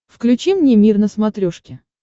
включи мне мир на смотрешке